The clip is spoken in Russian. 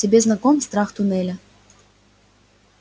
тебе знаком страх туннеля